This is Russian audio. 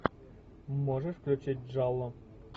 можешь включить джалло